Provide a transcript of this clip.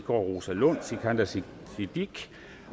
rosa lund sikandar siddique siddique